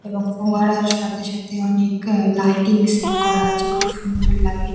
এবং ফোয়ারার সাথে সাথে অনেক আ লাইটিং সেট করা আছে খুব সুন্দর লাগে।